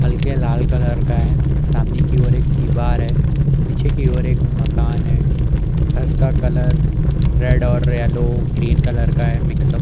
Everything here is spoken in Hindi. हल्के लाल कलर का है। सामने की ओर एक दीवार है। पीछे की ओर एक मकान है। फर्स का कलर रेड और येलो ग्रीन कलर का है मिक्सअप ।